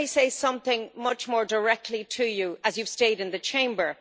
But let me say something much more directly to you, as you have stayed in the Chamber.